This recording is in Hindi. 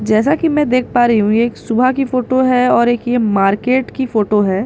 जैसा कि मैं देख पा रही हूं एक सुबह की फोटो है और एक यह मार्केट की फोटो है।